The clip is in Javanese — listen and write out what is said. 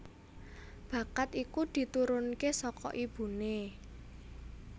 Bakat iku diturunke saka ibuné